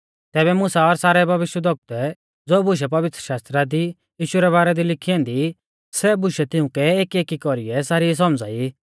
तैबै मुसा और सारै भविष्यवक्तुऐ ज़ो बुशै पवित्रशास्त्रा दी यीशु रै बारै दी लिखी ऐन्दी सै बुशै तिउंकै एकएकी कौरीऐ सारी सौमझ़ाई